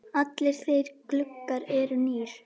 Allir gluggar eru því nýir.